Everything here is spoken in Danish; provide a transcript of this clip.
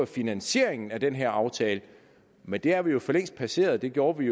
finansieringen af den her aftale men det har vi jo for længst passeret det gjorde vi